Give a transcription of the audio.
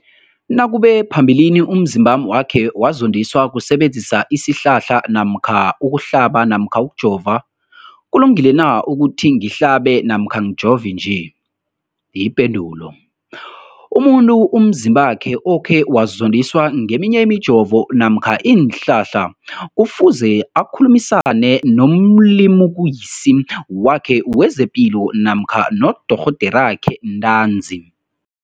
nakube phambilini umzimbami wakhe wazondiswa kusebenzisa isihlahla namkha ukuhlaba namkha ukujova, kulungile na ukuthi ngihlabe namkha ngijove nje? Ipendulo, umuntu umzimbakhe okhe wazondiswa ngeminye imijovo namkha iinhlahla kufuze akhulumisane nomlimukisi wakhe wezepilo namkha nodorhoderakhe ntanzi.